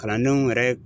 Kalandenw yɛrɛ